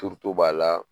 Turuto b'a la